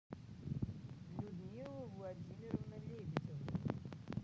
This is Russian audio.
людмила владимировна лебедева